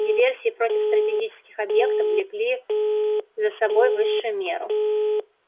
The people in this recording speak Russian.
диверсии против стратегических объектов влекли за собой высшую меру